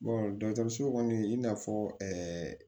dɔkɔtɔrɔso kɔni i n'a fɔ